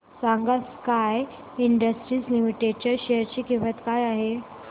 सांगा Sky industries limited च्या share ची किंमत काय आहे